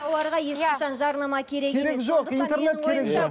тауарға ешқашан жарнама керек жоқ интернет керек жоқ